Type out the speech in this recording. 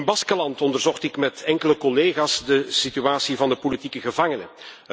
In Baskenland onderzocht ik met enkele collega's de situatie van de politieke gevangenen.